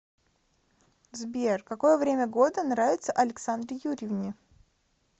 сбер какое время года нравится александре юрьевне